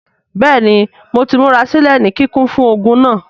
Bẹẹni Mo ti murasilẹ ni kikun fun ogun naa.